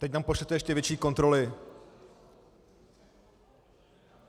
Teď tam pošlete ještě větší kontroly.